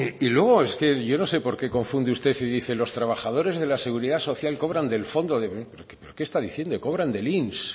y luego es que yo no sé por qué confunde usted y dice los trabajadores de la seguridad social cobran del fondo de pero que está diciendo cobran del inss